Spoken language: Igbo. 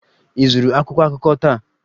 Ị zụrụ akwụkwọ akụkọ taa?